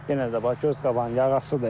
Yenə də bax göz qabağı yağıntıdır.